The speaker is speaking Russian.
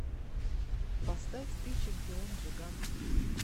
поставь ты чемпион джиган